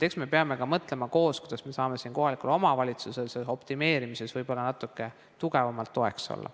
Eks me peame ka koos mõtlema, kuidas me saame kohalikule omavalitsusele selles optimeerimises natuke tugevamalt toeks olla.